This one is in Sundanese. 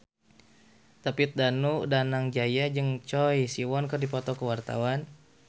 David Danu Danangjaya jeung Choi Siwon keur dipoto ku wartawan